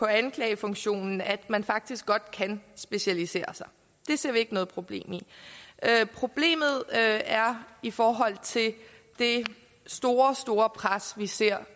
anklagefunktionen at man faktisk godt kan specialisere sig det ser vi ikke noget problem i problemet er i forhold til det store store pres vi ser